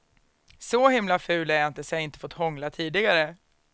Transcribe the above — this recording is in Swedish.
Så himla ful är jag inte så jag inte fått hångla tidigare.